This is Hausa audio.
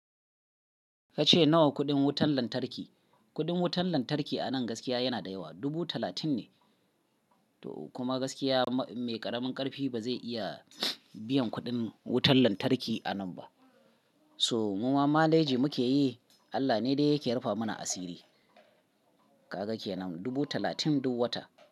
Ka ce nawa kuɗin wutan lantarki? Kuɗin wutan lantarki a nan gaskiya yana da yawa. Dubu talatin ne. To kuma gaskiya mai ƙaramin ƙarfi ba zai iya biyan kuɗin wutan lantarki a nan ba. So mu ma manage muke yi. Allah ne dai yake rufe mana asiri. Kaga kenan dubu talatin duk wata.